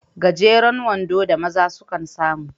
Gajeren wando da maza sukan samu